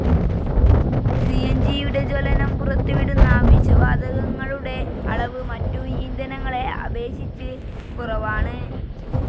C ന്‌ ജിയുടെ ജ്വലനം പുറത്തുവിടുന്ന വിഷവാതകങ്ങളുടെ അളവ് മറ്റു ഇന്ധനങ്ങളെ അപേക്ഷിച്ച് കുറവാണ്.